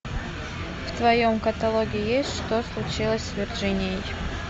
в твоем каталоге есть что случилось с верджинией